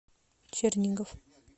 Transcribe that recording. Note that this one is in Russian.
чернигов